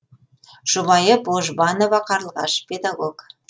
жұбайы божбанова қарлығаш педагог